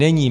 Není.